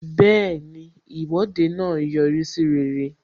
Bẹẹni, Ìwọ́de náà yọrí sí rere